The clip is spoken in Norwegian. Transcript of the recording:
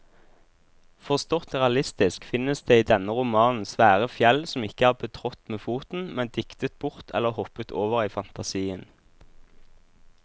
Forstått realistisk finnes det i denne romanen svære fjell som ikke er betrådt med foten, men diktet bort eller hoppet over i fantasien.